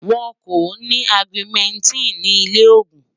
wón kò ní augumentin ní ilè ògún